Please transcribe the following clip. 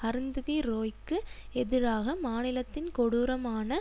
அருந்ததி ரோய்க்கு எதிராக மாநிலத்தின் கொடூரமான